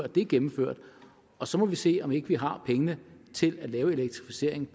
det er gennemført og så må vi se om ikke vi har pengene til at lave elektrificeringen